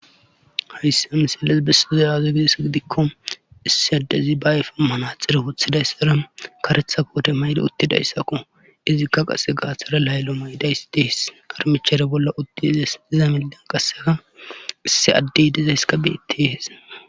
Hayssa misilles besuza aaze gides gidikko issi addezi ba ayfa manaxire wuthidayssira karetha koote mayde uttidayssakko izikka qase gaathara laylo maydays dehes armichare bolla uttiizes diza millan qaseka isse addey dizayska beette hese